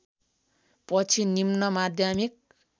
पछि निम्न माध्यमिक